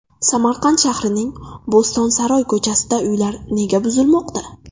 Samarqand shahrining Bo‘stonsaroy ko‘chasida uylar nega buzilmoqda?.